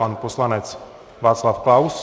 Pan poslanec Václav Klaus.